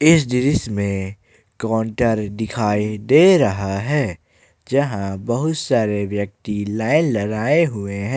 इस दृश्य में काउंटर दिखाई दे रहा है जहां बहुत सारे व्यक्ति लाइन लगाए हुए हैं।